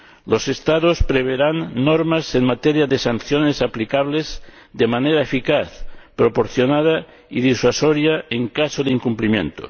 Los Estados preverán normas en materia de sanciones aplicables de manera eficaz, proporcionada y disuasoria en caso de incumplimiento.